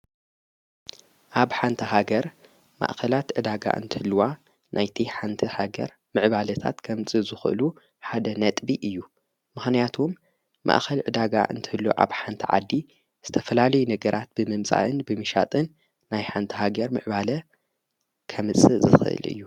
ኣብ ሓንታ ሃገር ማእኸላት ዕዳጋ እንትልዋ ናይቲ ሓንቲ ሃገር ምዕባለታት ከምፂ ዘኽእሉ ሓደ ነጥቢ እዩ መሕንያቶም ማእኸል ዕዳጋ እንተሎ ዓብ ሓንቲ ዓዲ ዝተፈላልይ ነገራት ብመምጻእን ብሚሻጥን ናይ ሓንታሃገር ምዕባለ ከምጽ ዘኽል እዩ።